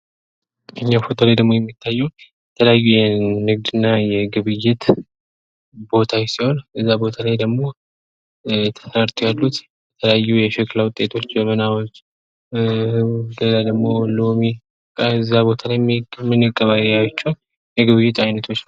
ከዚህኛው ፎቶ ላይ ደግሞ የሚታየው የተለያዩ የንግድና የግብይት ቦታዎች ሲሆን እዚያ ቦታ ላይ ደግሞ ተረድተው ያሉት የተለያዩ የሸክላ ውጤቶች ጀበናዎች ኧ ሌላ ደግሞ ሎሚ ከዚያ ቦታ ላይ ምንገበያያቸው የግብይት አይነቶች ናቸው።